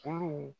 Kuru